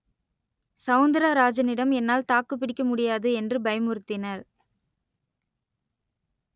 சவுந்தரராஜனிடம் என்னால் தாக்குப்பிடிக்க முடியாது என்று பயமுறுத்தினர்